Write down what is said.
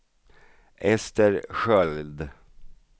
Ester Sköld